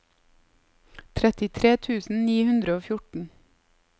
trettitre tusen ni hundre og fjorten